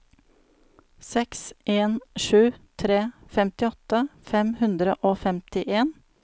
seks en sju tre femtiåtte fem hundre og femtien